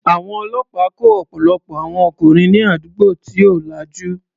Àwọn ọlọ́pàá kó ọ̀pọ̀lọpọ̀ àwọn ọkùnrin ní àdúgbò tí ò lajú.